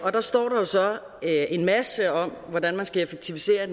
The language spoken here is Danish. står der jo så en masse om hvordan man skal effektivisere i